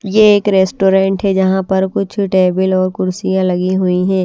यह एक रेस्टोरेंट है जहाँ पर कुछ टेबल और कुर्सियां लगी हुई हैं।